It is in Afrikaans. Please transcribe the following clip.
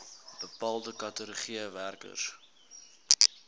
bepaalde kategorieë werkers